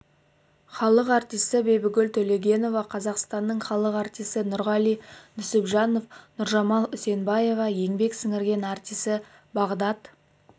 халық артисі бибігүл төлегенова қазақстанның халық артисі нұрғали нүсіпжанов нұржамал үсенбаева еңбек сіңірген артисі бағдат